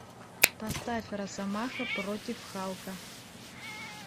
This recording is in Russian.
поставь росомаха против халка